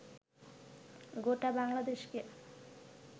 গোটা বাংলাদেশকে